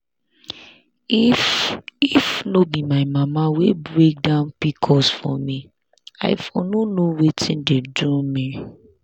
if if no be my mama wey break down pcos for me i for no know wetin dey do me.